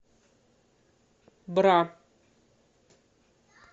бра